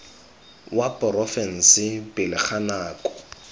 wa porofense pele ga nako